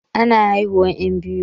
Ana haihuwan 'yan biyu.